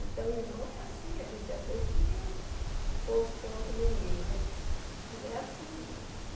Então, irmão é assim, a gente às vezes tem que pôr os pontos no i, mas não é assim, não.